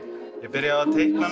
byrjaði